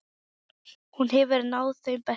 Hún hefur náð þeim bestu.